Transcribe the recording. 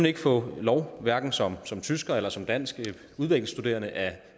ikke få lov hverken som som tysker eller som dansk udvekslingsstuderende at